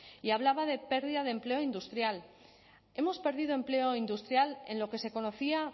y hablaba de pérdida de empleo industrial hemos perdido empleo industrial en lo que se conocía